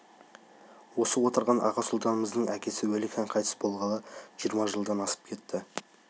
осы отырған аға сұлтанымыздың әкесі уәлихан қайтыс болғалы жиырма жылдан асып кетті